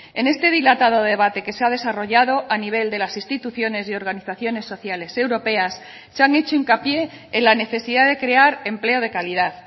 en este dilatado debate que se ha desarrollado a nivel de las instituciones y organizaciones sociales europeas se han hecho hincapié en la necesidad de crear empleo de calidad